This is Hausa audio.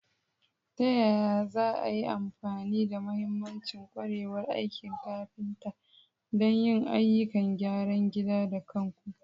Ta yaya za a yi amfani da mahimman ƙwarewar aikin kafinta don yin ayyukan gyaran gida da kanku?